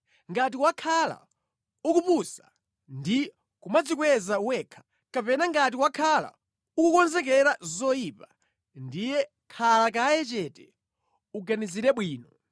“Ngati wakhala ukupusa ndi kumadzikweza wekha, kapena ngati wakhala ukukonzekera zoyipa, ndiye khala kaye chete, uganizire bwino!